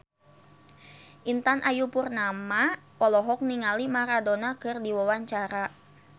Intan Ayu Purnama olohok ningali Maradona keur diwawancara